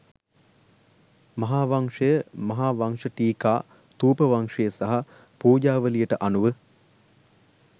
මහාවංශය, මහාවංශටීකා, ථූපවංශය සහ පූජාවලියට අනුව